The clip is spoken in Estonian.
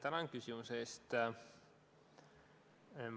Tänan küsimuse eest!